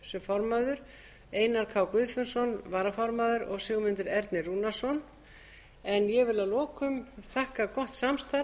sem formaður einar k guðfinnsson varaformaður og sigmundur ernir rúnarsson ég vil að lokum þakka gott samstarf